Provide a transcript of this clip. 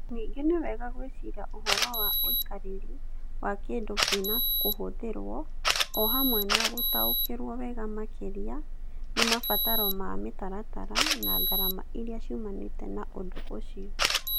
Ningĩ nĩ wega gwĩciria ũhoro wa ũikarĩri wa kĩndũ kĩna kũhũthĩrwo, o hamwe na gũtaũkĩrũo wega makĩria nĩ mabataro ma mĩtaratara na ngarama iria ciumanĩte na ũndũ ũcio.